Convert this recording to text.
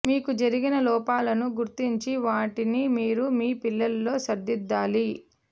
మీకు జరిగిన లోపాలను గుర్తించి వాటిని మీరు మీ పిల్లలలో సరిదిద్దాలి